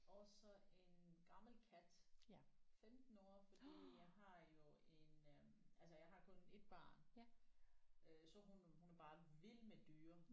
Og så en gammel kat 15 år fordi jeg har jo en øh altså jeg har kun 1 barn øh så hun er hun er bare vild med dyr